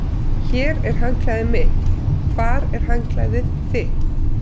Hér er handklæðið mitt. Hvar er handklæðið þitt?